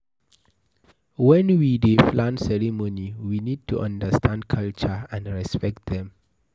When we dey plan ceremony we need to undertand culture and repect dem